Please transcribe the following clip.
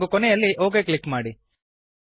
ಹಾಗೂ ಕೊನೆಯಲ್ಲಿ OK click ಮಾಡಿ